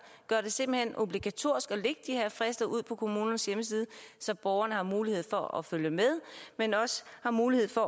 simpelt hen obligatorisk ud på kommunernes hjemmesider så borgerne har mulighed for at følge med men også har mulighed for